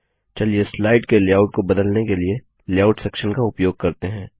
चलिए स्लाइड के लेआउट को बदलने के लिए लेआउट सेक्शन का उपयोग करते हैं